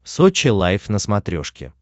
сочи лайв на смотрешке